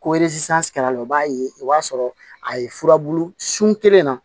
Ko o b'a ye o b'a sɔrɔ a ye furabulu sun kelen na